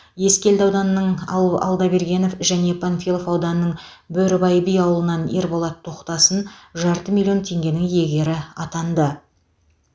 ескелді ауданының ал алдабергенов және панфилов ауданының бөрібай би ауылынан ерболат тоқтасын жарты миллион теңгенің иегері атанды